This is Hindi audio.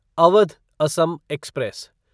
अवध असम एक्सप्रेस